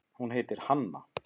Hún heitir Hanna.